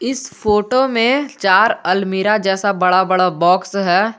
इस फोटो में चार अलमीरा जैसा बड़ा बड़ा बॉक्स है।